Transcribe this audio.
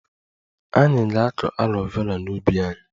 Anyị ga-akụ aloe Vera n'ubi anyị